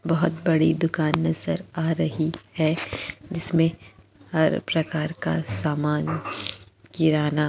बहोत बड़ी दुकान नज़र आ रही है जिसमे हर प्रकार का सामान किराना--